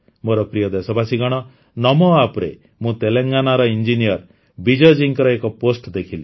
ମୋର ପ୍ରିୟ ଦେଶବାସୀଗଣ ନମୋ ଆପରେ ମୁଁ ତେଲଙ୍ଗାନାର ଇଞ୍ଜିନିୟର ବିଜୟ ଜୀଙ୍କ ଏକ ପୋଷ୍ଟ୍ ଦେଖିଲି